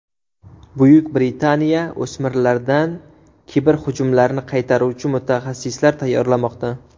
Buyuk Britaniya o‘smirlardan kiberhujumlarni qaytaruvchi mutaxassislar tayyorlamoqda.